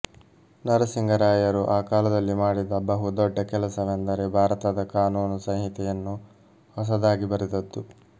ನರಸಿಂಗ ರಾಯರು ಆ ಕಾಲದಲ್ಲಿ ಮಾಡಿದ ಬಹು ದೊಡ್ಡ ಕೆಲಸವೆಂದರೆ ಭಾರತದ ಕಾನೂನು ಸಂಹಿತೆಯನ್ನು ಹೊಸದಾಗಿ ಬರೆದದ್ದು